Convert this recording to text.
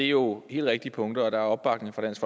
jo helt rigtige punkter og der er opbakning fra dansk